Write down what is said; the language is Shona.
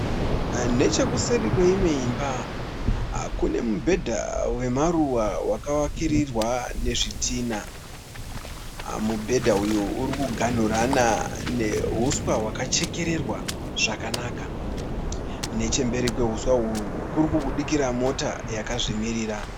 Nechekuseri kweimwe imba kune mubhedha wemaruva wakavakirirwa nezvidhina. Mubhedha uyu uri kuganhurana neuswa hwakachekererwa zvakanaka. Nechemberi kweuswa uhwu kuri kubudikira mota yakazvimirira.